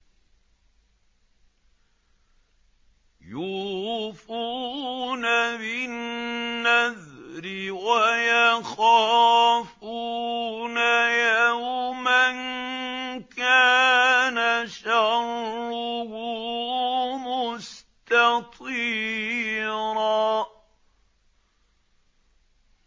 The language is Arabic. يُوفُونَ بِالنَّذْرِ وَيَخَافُونَ يَوْمًا كَانَ شَرُّهُ مُسْتَطِيرًا